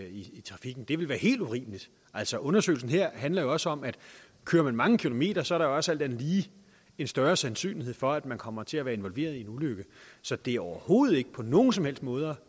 i trafikken det vil være helt urimeligt altså undersøgelsen her handler jo også om at kører man mange kilometer så er der jo også alt andet lige en større sandsynlighed for at man kommer til at være involveret i en ulykke så det er overhovedet ikke på nogen som helst måder